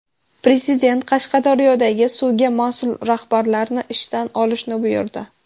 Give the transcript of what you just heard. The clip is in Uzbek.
Prezident Qashqadaryodagi suvga mas’ul rahbarlarni ishdan olishni buyurdi.